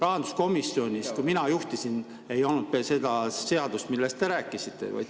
Rahanduskomisjonis, kui mina seda juhtisin, ei olnud seda halba seadust, millest te rääkisite.